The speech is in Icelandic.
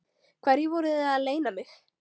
Hverju voruð þið að leyna mig?